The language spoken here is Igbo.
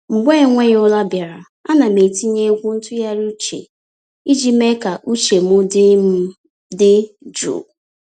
Mgbe enweghị ụra bịara, ana m etinye egwu ntụgharị uche iji mee ka uche m dị m dị jụụ.